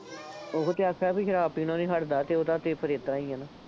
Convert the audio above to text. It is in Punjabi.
ਉਹੋ ਤਾਂ ਆਖਿਆ ਬਈ ਸ਼ਰਾਬ ਪੀਣੋ ਨਹੀਂ ਹੱਟਦਾ ਅਤੇ ਉਹਦਾ ਤਾਂ ਫੇਰ ਏਦਾਂ ਈਂ ਆਂ ਨਾ,